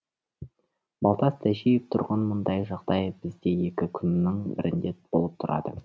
балтас тәжиев тұрғын мұндай жағдай бізде екі күннің бірінде болып тұрады